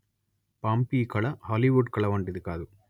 Pompeii కళ Hollywood కళ వంటిది కాదు